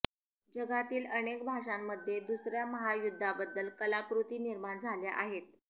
जगातील अनेक भाषांमध्ये दुसऱ्या महायुद्धाबद्दल कलाकृती निर्माण झाल्या आहेत